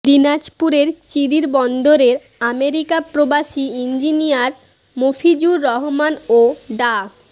দিনাজপুরের চিরিরবন্দরের আমেরিকা প্রবাসী ইঞ্জিনিয়ার মফিজুর রহমান ও ডা